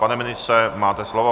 Pane ministře, máte slovo.